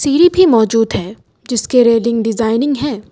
सीढ़ी भी मौजूद है जिसके रेलिंग डिजाइनिंग हैं।